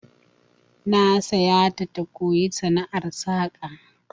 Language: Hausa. Na sa ƴata ta koyi sana'ar saka